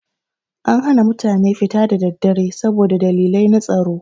Ana hana mutane fita da daddare saboda dalilai na tsaro.